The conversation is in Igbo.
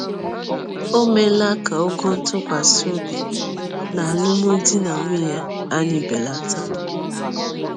Ò meela ka ogo nke ntụkwasị obi n’alụmdi na nwunye anyị belata?